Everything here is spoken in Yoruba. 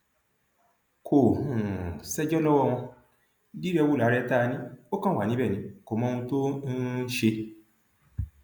kò um ṣẹjọ lọwọ wọn dírẹwú làárẹ tá a ní ó kàn wà níbẹ ni kò mọ ohun tó ń um ṣe